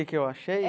Que que eu achei?